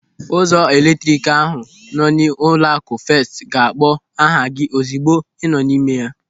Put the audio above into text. Ụzọ eletrik ahụ nọ n'ụlọaku Fest ga-akpọ aha gị ozigbo ị nọ n'ime ya.